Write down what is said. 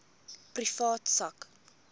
privaat sak